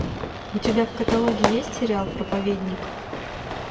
у тебя в каталоге есть сериал проповедник